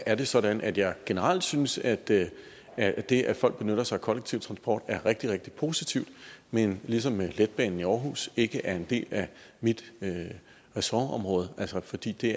er det sådan at jeg generelt synes at det at det at folk benytter sig af kollektiv transport er rigtig rigtig positivt men ligesom letbanen i aarhus ikke er en del af mit ressortområde fordi det